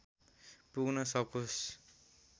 पुग्न सकोस्